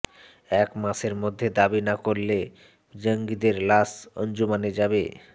এক মাসের মধ্যে দাবি না করলে জঙ্গিদের লাশ আঞ্জুমানে যাবে